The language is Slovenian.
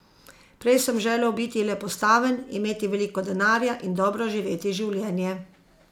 Prej sem želel biti le postaven, imeti veliko denarja in dobro živeti življenje.